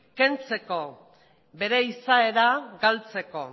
kentzeko bere izaera galtzeko